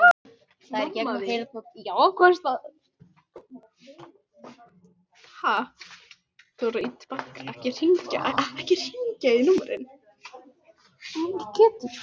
Kormlöð, slökktu á þessu eftir áttatíu og átta mínútur.